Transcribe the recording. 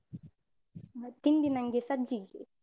ತಿಂಡಿ ನಂಗೆ ಸಜ್ಜಿಗೆ.